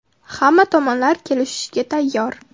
Hamma tomonlar kelishishga tayyor.